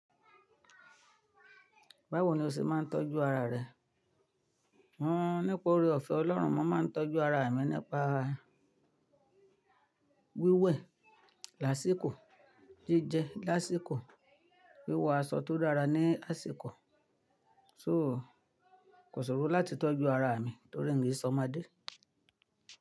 Báwo ni o ṣe máa ń tọ́jú ara rẹ? Hunnn, nípa ore ọ̀fẹ́ Ọlọ́run, mo máa ń tọ́jú ara mi nípa wíwẹ̀ lásìkò, jíjẹ lásìkò, wíwọ aṣọ tó dára ní àsìkò. So, kò ṣòro láti tọ́jú ara mi torí mi e sọmodé.